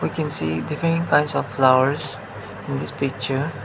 we can see different kinds of flowers in this picture.